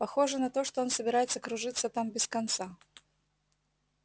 похоже на то что он собирается кружиться там без конца